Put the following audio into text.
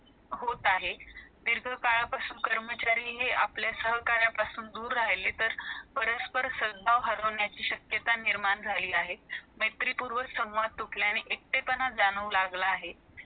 seriasoly घेतो आणि खरंच तो एक श्रीमंत माणूस आठेचाळीस दिवस भिकारी म्हणुन जगतो मग त्याला एक मुलगी जी जी एक त्यातली actor आहे अं picture मधली heroin आहे ती मग भेटती अं मग त्यांचं अं एकमेकांवर प्रेम होत तिला पण कळत